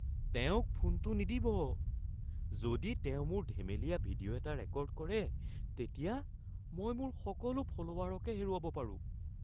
তেওঁক ফোনটো নিদিব। যদি তেওঁ মোৰ ধেমেলীয়া ভিডিঅ' এটা ৰেকৰ্ড কৰে, তেতিয়া মই মোৰ সকলো ফল'ৱাৰকে হেৰুৱাব পাৰোঁ।